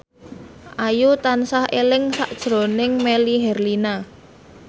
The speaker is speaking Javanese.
Ayu tansah eling sakjroning Melly Herlina